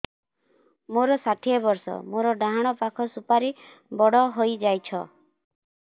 ମୋର ଷାଠିଏ ବର୍ଷ ମୋର ଡାହାଣ ପାଖ ସୁପାରୀ ବଡ ହୈ ଯାଇଛ